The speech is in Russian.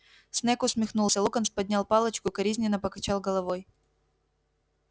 снегг усмехнулся локонс поднял палочку и укоризненно покачал головой